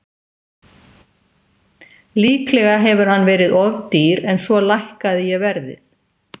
Líklega hefur hann verið of dýr en svo lækkaði ég verðið.